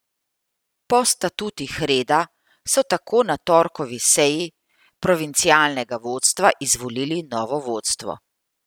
Po statutih reda so tako na torkovi seji provincialnega vodstva izvolili novo vodstvo.